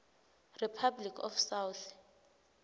republic of south